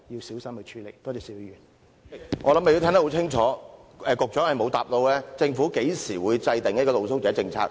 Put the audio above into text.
主席，我想你也聽得很清楚，局長沒有回答我的問題：政府何時制訂露宿者政策？